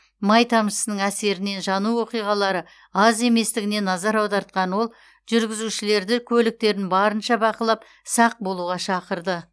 май тамшысының әсерінен жану оқиғалары аз еместігіне назар аудартқан ол жүргізушілерді көліктерін барынша бақылап сақ болуға шақырды